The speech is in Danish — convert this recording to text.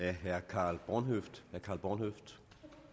af herre karl h bornhøft